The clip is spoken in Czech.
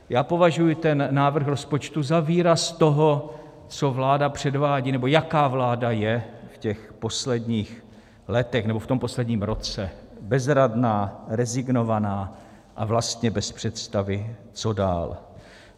Já považuji ten návrh rozpočtu za výraz toho, co vláda předvádí, nebo jaká vláda je v těch posledních letech nebo v tom posledním roce - bezradná, rezignovaná a vlastně bez představy, co dál.